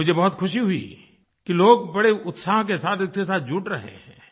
और मुझे बहुत खुशी हुई कि लोग बड़े उत्साह के साथ इसके साथ जुड़ रहे हैं